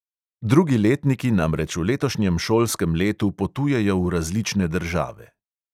Drugi letniki namreč v letošnjem šolskem letu potujejo v različne države.